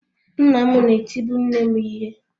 Nna m na-etibu nne m ihe.